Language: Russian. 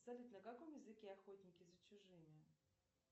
салют на каком языке охотники за чужими